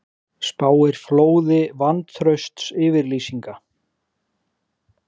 Spáir flóði vantraustsyfirlýsinga